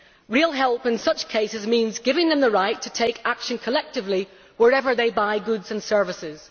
Real help in such cases means giving them the right to take action collectively, wherever they buy goods and services.